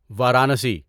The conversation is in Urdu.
وارانسی